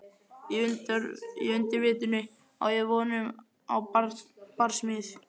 Í undirvitundinni á ég von á barsmíð.